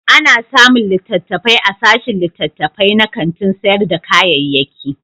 Ana samun littattafai a sashin littattafai na kantin sayar da kayayyaki.